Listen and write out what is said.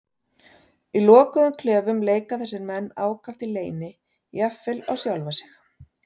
Í lokuðum klefum leika þessir menn ákaft í leyni, jafnvel á sjálfa sig.